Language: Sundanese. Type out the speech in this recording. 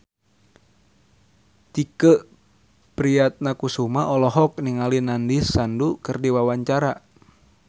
Tike Priatnakusuma olohok ningali Nandish Sandhu keur diwawancara